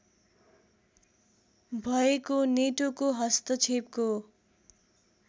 भएको नेटोको हस्तक्षेपको